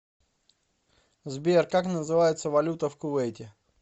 сбер как называется валюта в кувейте